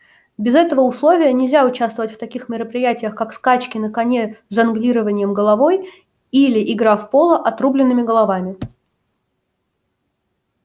без этого условия нельзя участвовать в таких мероприятиях как скачки на коне с жонглированием головой или игра в поло отрубленными головами